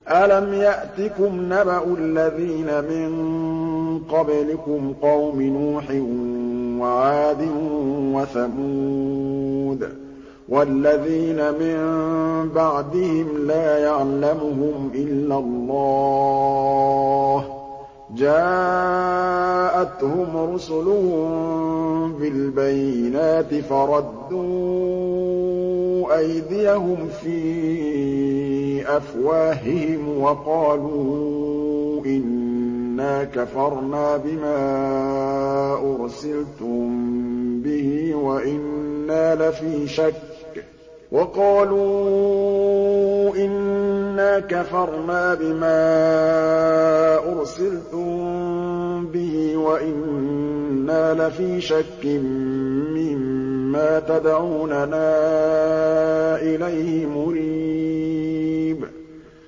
أَلَمْ يَأْتِكُمْ نَبَأُ الَّذِينَ مِن قَبْلِكُمْ قَوْمِ نُوحٍ وَعَادٍ وَثَمُودَ ۛ وَالَّذِينَ مِن بَعْدِهِمْ ۛ لَا يَعْلَمُهُمْ إِلَّا اللَّهُ ۚ جَاءَتْهُمْ رُسُلُهُم بِالْبَيِّنَاتِ فَرَدُّوا أَيْدِيَهُمْ فِي أَفْوَاهِهِمْ وَقَالُوا إِنَّا كَفَرْنَا بِمَا أُرْسِلْتُم بِهِ وَإِنَّا لَفِي شَكٍّ مِّمَّا تَدْعُونَنَا إِلَيْهِ مُرِيبٍ